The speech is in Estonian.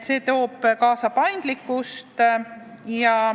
See toob kaasa suurema paindlikkuse.